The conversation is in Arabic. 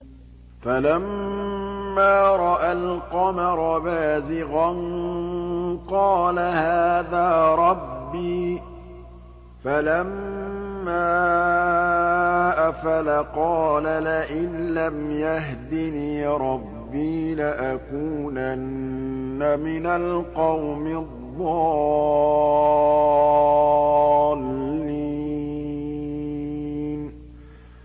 فَلَمَّا رَأَى الْقَمَرَ بَازِغًا قَالَ هَٰذَا رَبِّي ۖ فَلَمَّا أَفَلَ قَالَ لَئِن لَّمْ يَهْدِنِي رَبِّي لَأَكُونَنَّ مِنَ الْقَوْمِ الضَّالِّينَ